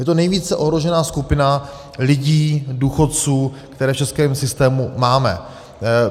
Je to nejvíce ohrožená skupina lidí, důchodců, které v českém systému máme.